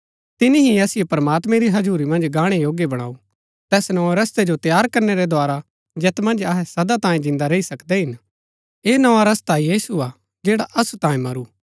तिनी ही असिओ प्रमात्मैं री हजुरी मन्ज गाणै योग्य बणाऊ तैस नोए रस्तै जो तैयार करनै रै द्धारा जैत मन्ज अहै सदा तांये जिन्दा रैई सकदै हिन ऐह नोआ रस्ता यीशु हा जैड़ा असु तांये मरू